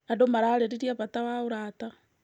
Andũ mararĩrĩria bata wa ũrata.